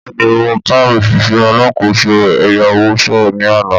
Bẹ́ẹ̀ni mo bá òṣìṣẹ́ alákòóso ẹ̀yáwó sọ̀rọ̀ ni àná.